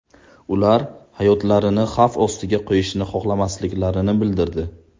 Ular hayotlarini xavf ostiga qo‘yishni xohlamasliklarini bildirdi.